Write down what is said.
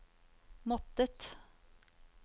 måttet